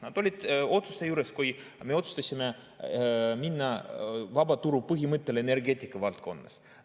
Nad olid otsuse juures, kui me otsustasime minna vabaturupõhimõttele energeetika valdkonnas.